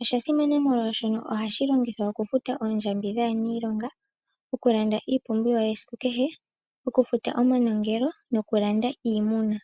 Osha simana molwaashono ohashi longithwa oku futa oondjambi dhaaniilonga, oku landa iipumbiwa yesiku kehe, oku futa omanongelo noku landa iimuna.